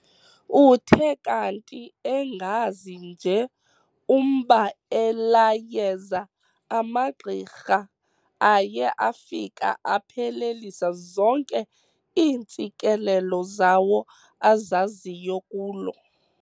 Uthe kanti engazi nje umba elaa yeza amagqirha aye afika aphelelisa zonke iintsikelelo zawo azaziyo kulo.